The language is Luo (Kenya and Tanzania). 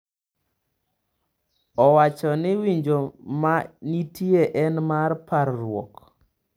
Owacho ni winjo ma nitie en mar parruok.